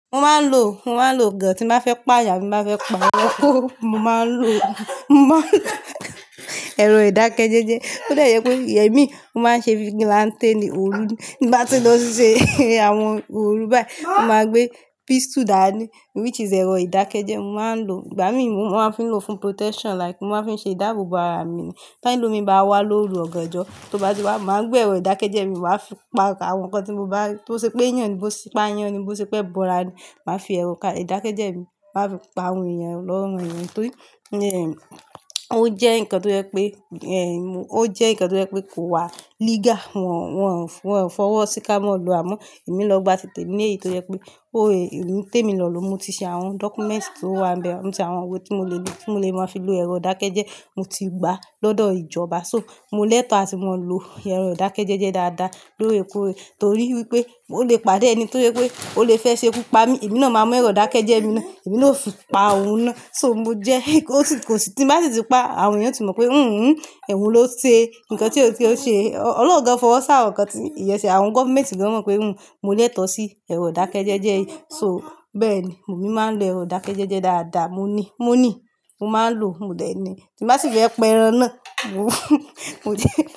Mo máa ń lo, mo máa ń lo gán tí n bá fẹ́ pa yàn ní abi ti n ba fẹ́ pa yín, Mo máa ń lo, mo máa ń lo ẹ̀rọ ìdákẹ́jẹ́ jẹ. Ó dẹ jẹ́ pé èmi mo máa ń ṣe vigilant ni òru ní bá ti lọ ṣíṣe àwọn òru báyìí, mo máa gbé pístù dáàní which is ẹ̀rọ ìdákẹ́jẹ́ mo máa ń lo. Ìgbà mí mo máa ń fi lò fún protection like mo máa ń fi ṣe ìdáàbò bo ara mi ni. Tẹlómi bá wà lòòru ọ̀ganjọ́, tó bá ti wà, máa gbé ẹ̀rọ ìdákẹ́jẹ́ mi, máa fi pa rá àwọn nǹkan tí mo bá rí-- tó ṣe pé èèyàn ní bó ṣe pa àyàn ni, bó bo ṣe pé ẹbọra ní, màá fi ẹ̀rọ un ká ìdákẹ́jẹ́ mi, màá fi pa awọn èèyàn lọrùn èèyàn torí """""ò jẹ́ nǹkan tó jẹ́ pé""""" ò jẹ́ nǹkan tó jẹ́ pé kò wà lìga. Wọn, wọn, wọn fọ́wọ́ sí ká mọ́ gbà àmu. Èmi lọ́ gba títè ní èyí tó yẹ pé ọ é témi lọ̀ lọ́mo. Mọ tí ṣe awọn documeti tọ wá nbè mo tí ṣe àwọn ìwé tí mo lè lò, tí mo lè máa fi lò ẹ̀rọ ìdákẹ́jẹ́, mo ti gbà lọ́dọ̀ ìjọba. So, mo lẹ́tọ̀ọ́ ati mo ń lò ẹ̀rọ ìdákẹ́jẹ́jẹ́ dáadáa lóòrèkóòrè torí wípé mọ lè pàdé ẹní tó jẹ́ pé ó lè fẹ́ ṣe kú pa mí. Èmi náà máa mú ẹ̀rọ ìdákẹ́jẹ́ mi náà, èmi náà ó fi pa òun náà. So, mo jẹ́ kò sì, kò sì tín bá sì ti pa àwọn èèyàn tí mọ̀ pé hùhùn ẹ̀wo ló ṣe nǹkan tí ó tó ọ ṣe. Ọlọ́run gán fọwọ́ sí àwọn ǹkan tí èèyàn ṣe, àwọn government gan mọ̀ pé hùn mo lẹ́tọ̀ọ́ sí ẹ̀rọ ìdákẹ́jẹ́jẹ́ yìí. So bẹ́ẹ̀ni, èmi máa ń lo ẹ̀rọ ìdákẹ́jẹ́jẹ́ dáadáa. Mo nì, mo ní, mo máa ń lò, mo dẹ̀ ní. Tí n bá sì fẹ́ pẹ́ ẹran náà, wọ""""Moti.